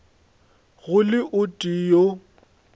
go le o tee yo